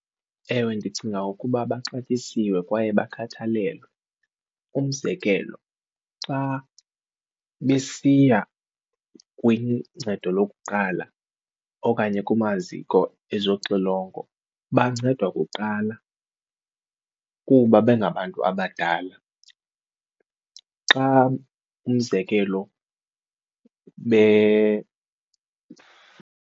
Ewe, ndicinga ukuba baxatyisiwe kwaye bakhathalelwe, umzekelo xa besiya kwincedo lokuqala okanye kumaziko ezoxilongo bancedwa kuqala kuba bengabantu abadala. Xa umzekelo .